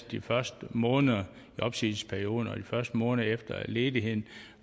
de første måneder i opsigelsesperioden og de første måneder efter ledigheden